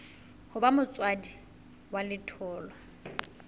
ho ba motswadi wa letholwa